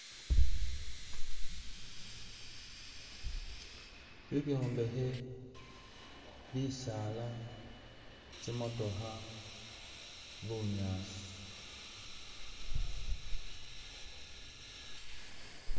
Ibyombekhe, bisaala, tsimotokha, bunyaasi.